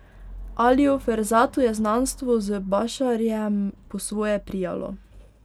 Aliju Ferzatu je znanstvo z Bašarjem po svoje prijalo.